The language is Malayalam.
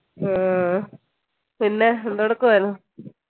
പിന്നെ എന്തെടുക്കുവായിരുന്നു